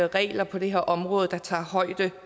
regler på det her område der tager højde